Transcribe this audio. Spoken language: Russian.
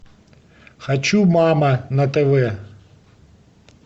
хочу мама на тв